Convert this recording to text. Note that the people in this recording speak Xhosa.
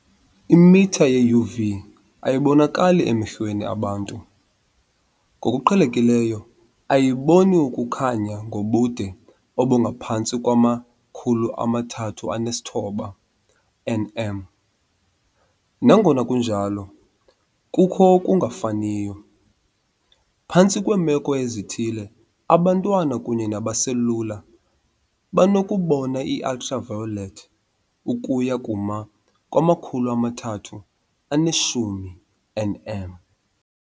Imitha ye-UV ayibonakali emehlweni abantu, ngokuqhelekileyo ayiboni ukukhanya ngobude obungaphantsi kwama-390. nm. Nangona kunjalo, kukho okungafaniyo- phantsi kweemeko ezithile, abantwana kunye nabaselula banokubona i-ultraviolet ukuya kuma-310. nm.